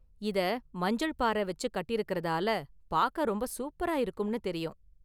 இதை மஞ்சள் பாறை வெச்சு கட்டிருக்கறதால பார்க்க ரொம்ப சூப்பரா இருக்கும்னு தெரியும்.